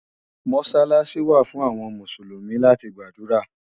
Mọ́sálásí wà fún àwọn Mùsùlùmí láti gbàdúrà